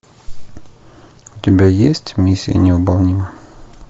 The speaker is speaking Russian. у тебя есть миссия невыполнима